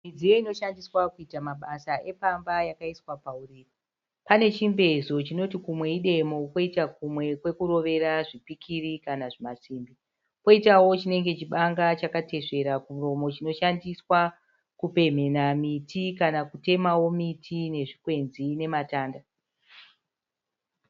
Midziyo inoshandiswa kuita mabasa epamba yakaiswa pauriri pane chimbezo chinoti kumwe idemo koita kumwe kwekurovera zvipikiri kana zvimasimbi koitawo chinenge chibanga chakatesvera kumuromo chinoshandiswa kupemhena miti kana kutemawo miti nezvikwenzi nematanda.